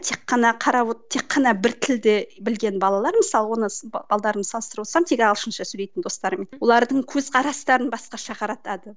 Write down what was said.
тек қана қарап тек қана бір тілде білген балалар мысалы оны салыстырып отырсам тек ағылшынша сөйлейтін достарыммен олардың көзқарастарын басқаша қаратады